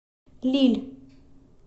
лилль